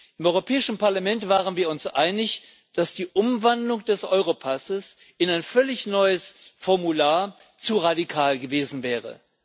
Im Europäischen Parlament waren wir uns einig, dass die Umwandlung des Europasses in ein völlig neues Formular zu radikal gewesen wäre.